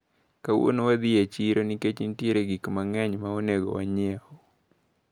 Kawuono wadhi dhi e chiro nikech nitiere gik mang`eny maonego wanyieu.